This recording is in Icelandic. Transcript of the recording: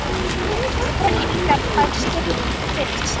Hvor ykkar fær skeytin fyrst?